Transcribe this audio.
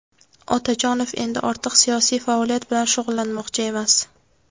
Otajonov endi ortiq siyosiy faoliyat bilan shug‘ullanmoqchi emas.